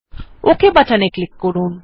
okay বাটনে click করুন